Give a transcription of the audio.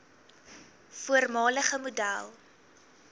voormalige model